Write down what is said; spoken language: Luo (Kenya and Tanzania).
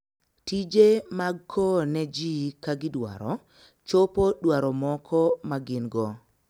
Tije mag kowo ne ji ka gidwaro, chopo dwaro moko ma gin - go.